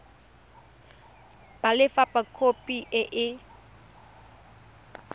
ba lefapha khopi e e